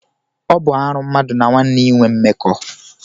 Ọ bụ arụ mmadụ na nwanne ya inwe mmekọ.